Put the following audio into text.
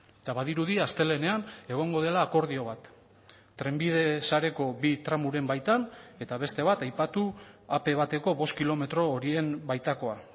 eta badirudi astelehenean egongo dela akordio bat trenbide sareko bi tramoren baitan eta beste bat aipatu ap bateko bost kilometro horien baitakoa